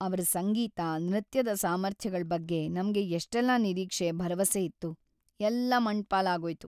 ಅವ್ರ ಸಂಗೀತ, ನೃತ್ಯದ ಸಾಮರ್ಥ್ಯಗಳ್‌ ಬಗ್ಗೆ ನಮ್ಗೆ ಎಷ್ಟೆಲ್ಲ ನಿರೀಕ್ಷೆ, ಭರವಸೆ ಇತ್ತು.. ಎಲ್ಲ ಮಣ್ಣ್‌ ಪಾಲಾಗೋಯ್ತು.